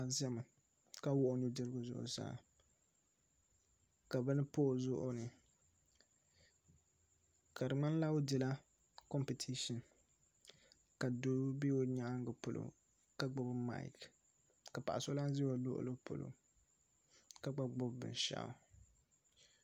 Paɣa n ʒɛya ka wuhi o nudirigu zuɣusaa ka bini pa o zuɣuni ka di ŋmanila o dila kompitishin ka doo bɛ o nyaangi polo ka gbubi maik ka paɣa so lahi ʒɛ o luɣuli polo ka gba gbubi binshaɣu